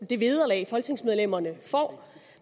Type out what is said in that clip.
det vederlag folketingsmedlemmerne får